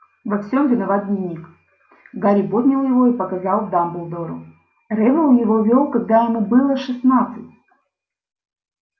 во всём виноват дневник гарри поднял его и показал дамблдору реддл его вёл когда ему было шестнадцать